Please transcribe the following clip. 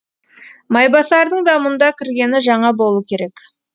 майбасардың да мұнда кіргені жаңа болу керек